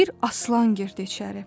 Bir aslan girdi içəri.